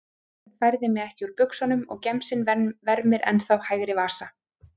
Frúin færði mig ekki úr buxunum og gemsinn vermir ennþá hægri vasa.